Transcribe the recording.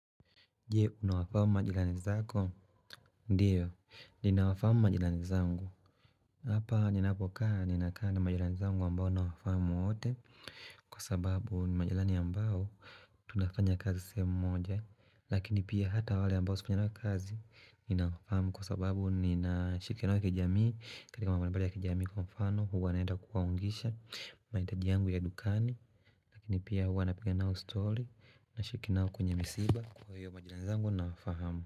Je, unawafamu majirani zako? Ndiyo, ninawafamu majirani zangu Hapa, ninapokaa, ninakaa na majirani zangu ambao ninawafamu wote kwa sababu ni majirani ambao tunafanya kazi semoja Lakini pia hata wale ambao sifanyi nao kazi, ninawafamu kwa sababu, ninashikiana nao kijamii katika mambo mbalimbali ya kijamii kwa mfano huwa naenda kuwaungisha mahitaji yangu ya dukani lakini pia huwa napiga nao story, nashikiana nao kwenye misiba kwa hiyo majirani zangu nawafahamu.